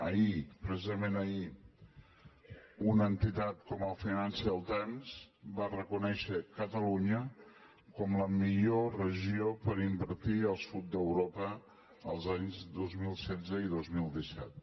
ahir precisament ahir una entitat com el financial times va reconèixer catalunya com la millor regió per invertir al sud d’europa els anys dos mil setze i dos mil disset